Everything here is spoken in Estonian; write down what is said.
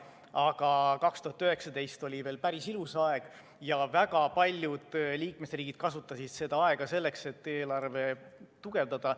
Aga 2019 oli veel päris ilus aeg ja väga paljud liikmesriigid kasutasid seda aega selleks, et eelarvet tugevdada.